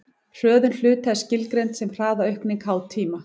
hröðun hluta er skilgreind sem hraðaaukning háð tíma